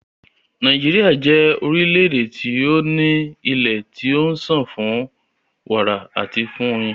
Nàíjíríà jẹ́ orílẹ̀-èdè tí o ní ilé tí ó ń sàn fún wàrà àti fún oyin.